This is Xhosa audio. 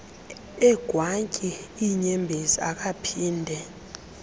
egwantyi iinyembezi akaphinde